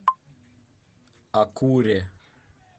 акуре